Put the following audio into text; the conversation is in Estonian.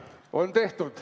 On tehtud.